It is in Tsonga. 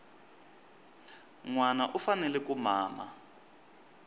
nwana u fanele ku mama